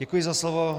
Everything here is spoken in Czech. Děkuji za slovo.